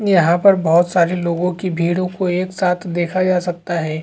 यहाँ पर बोहोत सारी लोगों की भीड़ को एक साथ दिखा जा सकता हैं।